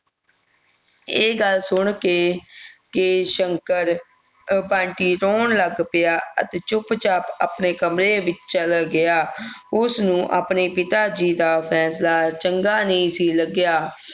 ਇਹ ਗੱਲ ਸੁਣ ਕੇ ਕੇ ਸ਼ੰਕਰ ਅਹ ਬੰਟੀ ਰੋਣ ਲੱਗ ਪਿਆ ਅਤੇ ਚੁਪਚਾਪ ਆਪਣੇ ਕਮਰੇ ਵਿਚ ਚਲਾ ਗਿਆ ਉਸ ਨੂੰ ਆਪਣੇ ਪਿਤਾਜੀ ਦਾ ਫੈਂਸਲਾਂ ਚੰਗਾ ਨਹੀਂ ਸੀ ਲਗਿਆ